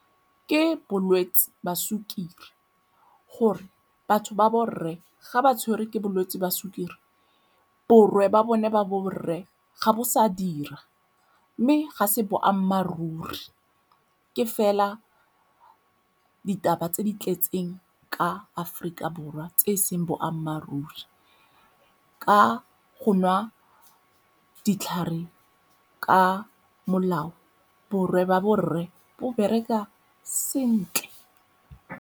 Ke bolwetse ba sukiri gore batho ba borre ga ba tshwerwe ke bolwetse jwa sukiri borwe ba bone ba borre ga bo sa dira mme ga se boammaaruri, ke fela ditaba tse di tletseng ka Aforika Borwa tse e seng boammaaruri. Ka go nwa ditlhare ka molao borwe ba borre bo bereka sentle.